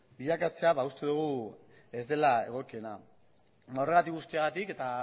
bilakatzea uste dugu ez dela egokiena horregatik guztiagatik eta